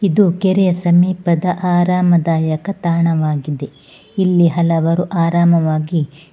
ಇದು ಕೆರೆಯ ಸಮೀಪದ ಆರಾಮದಾಯಕ ತಾಣವಾಗಿದೆ ಇಲ್ಲಿ ಹಲವಾರು ಆರಾಮವಾಗಿ--